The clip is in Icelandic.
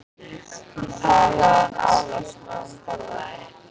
Hún talaði án afláts meðan hún borðaði.